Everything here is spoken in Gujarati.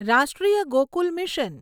રાષ્ટ્રીય ગોકુલ મિશન